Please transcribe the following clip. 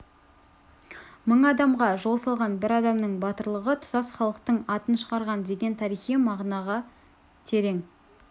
мың адамға жол салған бір адамның батырлығы тұтас халықтың атын шығарған деген тарихи мағынасы терең